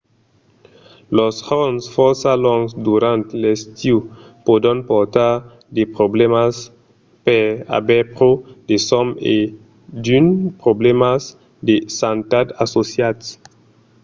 los jorns fòrça longs durant l’estiu pòdon portar de problèmas per aver pro de sòm e d’unes problèmas de santat associats